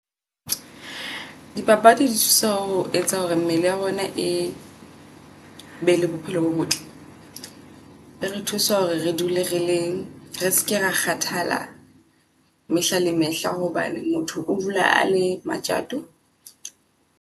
Dipapadi di thusa ho etsa hore mmele ya rona e be le bophelo bo botle. Ere thusa hore re dule re leng re ske ra kgathala mehla le mehla hobane motho o dula a le matjato.